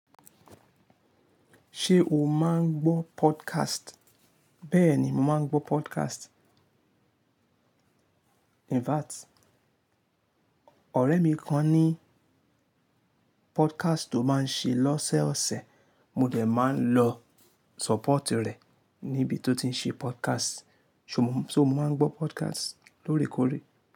Ṣé o máa ń gbọ́ podcast? Bẹ́ẹ̀ ni, mo máa ń gbọ́ podcast. In fact, ọ̀rẹ́ mi kan ní podcast tó máa ń ṣe lọ́sẹ̀ ọ̀sẹ̀. Mo dẹ̀ máa ń lọ sọ̀pọ́ọ̀tì rẹ̀ níbi tó ti ń ṣe podcast. So mo máa ń gbọ́ podcast lóòrèkóòrè.